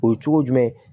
O ye cogo jumɛn